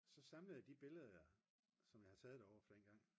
så samlede jeg de billeder som jeg havde taget derovre fra dengang